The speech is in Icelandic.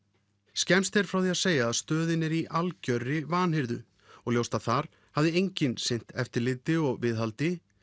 skemmst er frá því að segja að stöðin er í algjörri vanhirðu og ljóst að þar hafði enginn sinnt eftirliti og viðhaldi